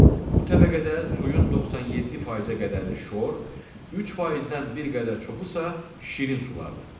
Bu təbəqədə suyun 97%-ə qədəri şor, 3%-dən bir qədər çoxu isə şirin sulardır.